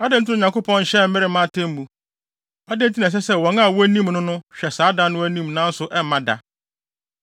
“Adɛn nti na Onyankopɔn nhyɛ bere mma atemmu? Adɛn nti na ɛsɛ sɛ wɔn a wonim no no hwɛ saa da no anim nanso ɛmma da?